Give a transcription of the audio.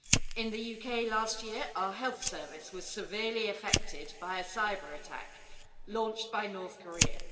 In the UK last year our health service was severely affected by a cyber-attack launched by North Korea.